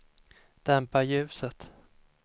dämpa ljuset